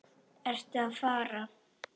Ertu að fara?